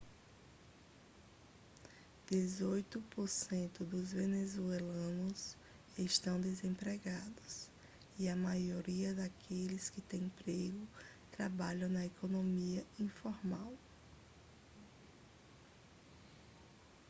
dezoito por cento dos venezuelanos estão desempregados e a maioria daqueles que tem emprego trabalham na economia informal